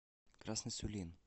красный сулин